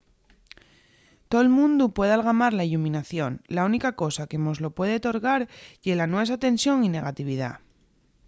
tol mundu puede algamar la illuminación la única cosa que mos lo puede torgar ye la nuesa tensión y negatividá